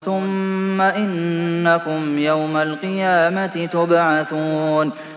ثُمَّ إِنَّكُمْ يَوْمَ الْقِيَامَةِ تُبْعَثُونَ